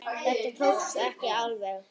Þetta tókst ekki alveg.